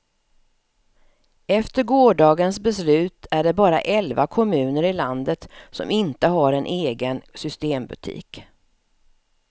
Efter gårdagens beslut är det bara elva kommuner i landet som inte har en egen systembutik.